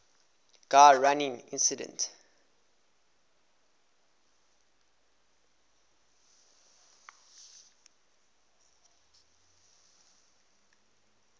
gun running incident